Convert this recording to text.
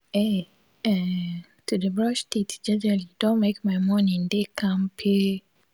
aee[um]to de brush teet jejely don make my morning dey kampe